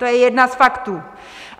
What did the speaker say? To je jeden z faktů.